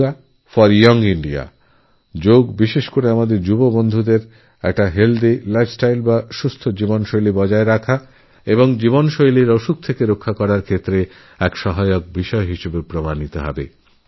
yoga for young India যোগ আমাদের যুবকযুবতীদেরস্বাস্থ্যকর জীবনযাপনের অভ্যাস তৈরি করতে এবং লাইফস্টাইলডাইজরদের থেকে বাঁচতে সাহায্য করবে